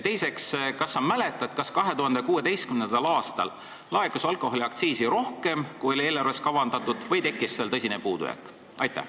Teiseks, kas sa mäletad, kas 2016. aastal laekus alkoholiaktsiisi rohkem, kui oli eelarves kavandatud, või tekkis seal tõsine puudujääk?